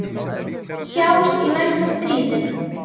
Sjáumst í næsta stríði.